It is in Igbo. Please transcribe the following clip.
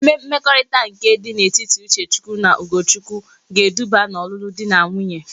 Ee mmekorita nke di na etiti Uchechukwu na Ugochukwu ga-eduba na olulu di na nwunye